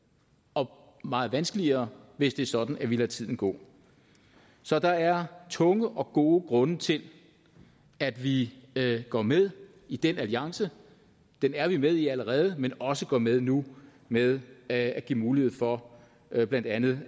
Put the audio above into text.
og meget vanskeligere hvis det er sådan at vi lader tiden gå så der er tunge og gode grunde til at vi går med i den alliance den er vi med i allerede men også går med nu ved at give mulighed for at blandt andet